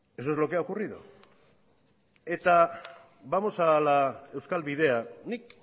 eso es lo que ha ocurrido eta vamos a la euskal bidea nik